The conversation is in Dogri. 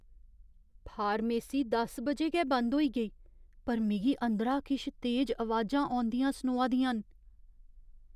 फार्मेसी दस बजे गै बंद होई गेई, पर मिगी अंदरा किश तेज अवाजां औंदियां सनोआ दियां न।